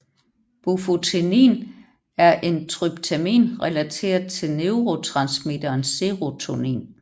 Bufotenin er en tryptamin relateret til neurotransmitteren serotonin